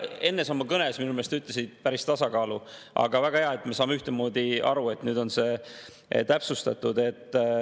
Enne sa oma kõnes minu meelest ütlesid, et päris tasakaalu, aga väga hea, et me saame ühtemoodi aru, nüüd on see täpsustatud.